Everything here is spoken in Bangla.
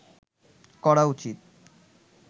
করা উচিৎ